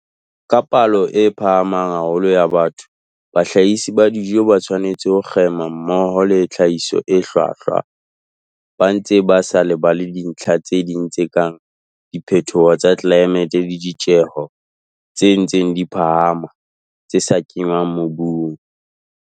Ka palo e phahamang haholo ya batho, bahlahisi ba dijo ba tshwanetse ho kgema mmoho le tlhahiso e hlwahlwa, ba ntse ba sa lebale dintlha tse ding tse kang diphetoho tsa tlelaemete le ditjeho tse ntseng di phahama tsa tse kenngwang mobung.